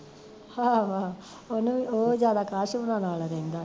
ਆਹੋ ਆਹੋ ਉਹਨੂੰ ਵੀ ਓਹ ਜਿਆਦਾ ਅਕਾਸ਼ ਹੁਣਾ ਨਾਲ਼ ਰਹਿੰਦਾ ਐ